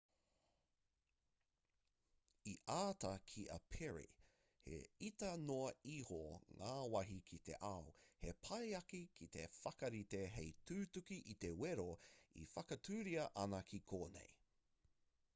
i āta kī a perry he iti noa iho ngā wāhi ki te ao he pai ake te whakarite hei tutuki i te wero e whakatūria ana ki konei